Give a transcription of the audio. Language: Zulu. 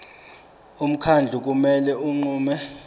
umkhandlu kumele unqume